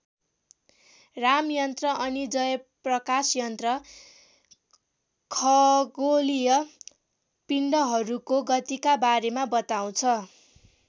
राम यन्त्र अनि जय प्रकाश यन्त्र खगोलीय पिण्डहरूको गतिका बारेमा बताउँछ।